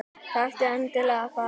Þarftu endilega að fara?